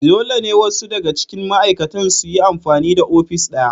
Dole ne wasu daga cikin ma'aikatan su yi amfani da ofis ɗaya